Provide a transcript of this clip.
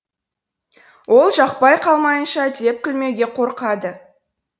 ол жақпай қалмайыншы деп күлмеуге қорқады